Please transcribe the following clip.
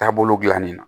Taabolo dilannen na